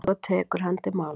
Svo tekur hann til máls: